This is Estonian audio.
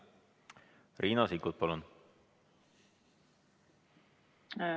Riina Sikkut, palun!